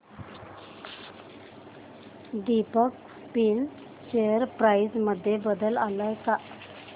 Deepak spinners share price मध्ये बदल आलाय का